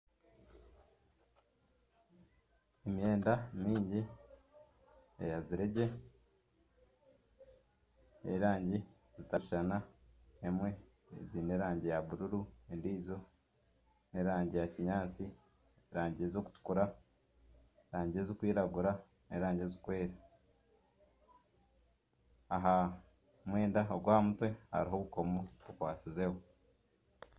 Emyenda maingi eyazire gye ey'erangi zitakushushana ezimwe ziine erangi ya buruuru endijo n'erangi ya kinyaatsi, erangi ez'okutukura, erangi ezikwiragura n'erangi ezikwera. Aha mwenda ogw'aha mutwe hariho obukoomo obukwatsizeho.